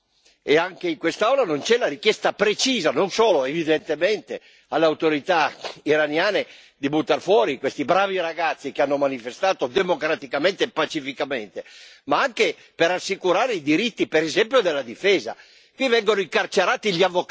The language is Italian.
Ma qui non c'è stata, e anche in quest'Aula non c'è una richiesta precisa, non solo evidentemente alle autorità iraniane, di buttar fuori questi bravi ragazzi che hanno manifestato democraticamente e pacificamente, ma anche per assicurare i diritti, per esempio, della difesa.